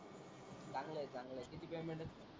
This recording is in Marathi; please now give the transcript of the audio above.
चांगलं आहे चांगलं आहे किती पेयमेन्ट आहे?